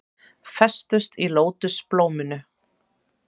Festust í lótusblóminu